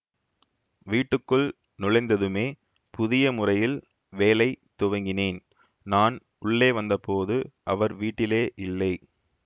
வீட்டுக்குள் நுழைந்ததுமே புதிய முறையில் வேலை துவங்கினேன் நான் உள்ளே வந்த போது அவர் வீட்டிலே இல்லை